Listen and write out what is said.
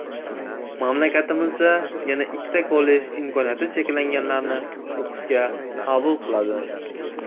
Mamlakatimizda yana ikkita kollej imkoniyati cheklanganlarni o‘qishga qabul qiladi.